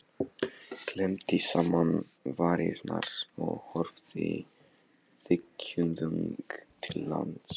Klemmdi saman varirnar og horfði þykkjuþung til lands.